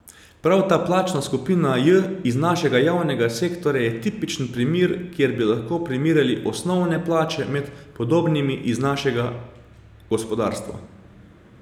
Prav ta plačna skupina J iz našega javnega sektorja je tipični primer, kjer bi lahko primerjali osnovne plače med podobnimi iz našega gospodarstva.